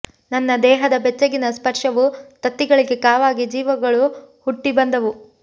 ನನ್ನ ದೇಹದ ಬೆಚ್ಚಗಿನ ಸ್ಪರ್ಷವು ತತ್ತಿಗಳಿಗೆ ಕಾವಾಗಿ ಜೀವಗಳು ಹುಟ್ಟಿ ಬಂದವು